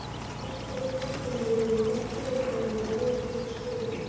Kannski gæti kvikmyndavélin gert fyrirbærinu verðug skil.